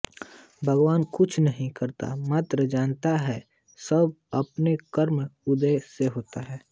भगवान कुछ नहीं करता मात्र जानता है सब अपने कर्मों के उदय से होता है